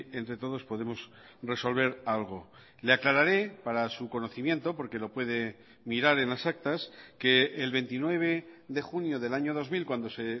entre todos podemos resolver algo le aclararé para su conocimiento porque lo puede mirar en las actas que el veintinueve de junio del año dos mil cuando se